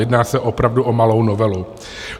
Jedná se opravdu o malou novelu.